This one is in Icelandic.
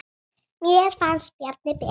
Mér finnst Bjarni Ben.